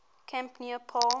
camp near palm